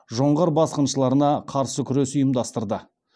жоңғар басқыншыларына қарсы күрес ұйымдастырды